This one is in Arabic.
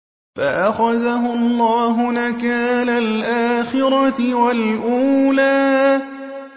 فَأَخَذَهُ اللَّهُ نَكَالَ الْآخِرَةِ وَالْأُولَىٰ